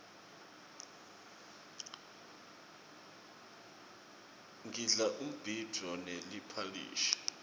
ngidla umbhidvo neliphalishi